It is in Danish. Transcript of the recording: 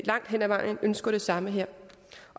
langt hen ad vejen ønsker det samme her